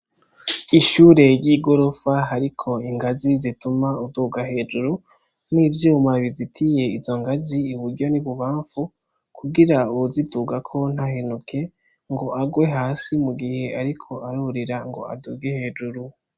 Ishure ry'igorofa hariko ingazi zituma uduga hejuru n'ivyuma bizitiye izo ngazi iburyo n'ibubamfu kugira uwuzidugako ntahenuke ngo arwe hasi mu gihe ariko arurira ngo aduge hejuru.